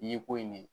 I ye ko in ne